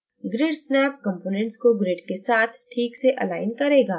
grid snap components को grid के साथ ठीक से अलाइन करेगा